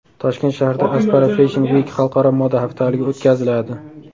Toshkent shahrida Aspara Fashion Week xalqaro moda haftaligi o‘tkaziladi.